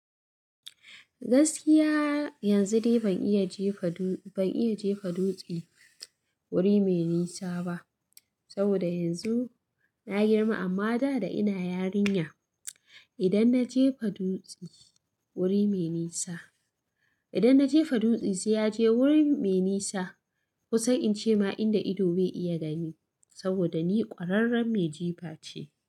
Gaskiya yanzu ni ban iya jefa dutse wuri mai nisa ba saboda yanzu na girma. Amma da ina yarinya, idan na jefa dutse ya je wurin mai nisa, ku san in ce ma inda ido bai iya gani saboda ni ƙwararriyar mai jifa ce.